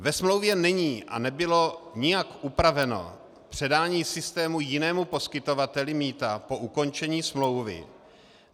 Ve smlouvě není a nebylo nijak upraveno předání systému jinému poskytovateli mýta po ukončení smlouvy.